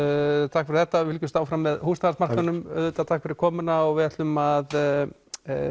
takk fyrir þetta við fylgjumst áfram með húsnæðismarkaðnum auðvita takk fyrir komuna og við ætlum að